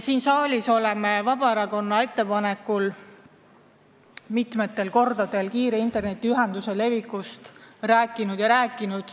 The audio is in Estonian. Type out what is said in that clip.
Vabaerakonna ettepanekul on siin saalis mitmel korral räägitud kiire internetiühenduse levikust.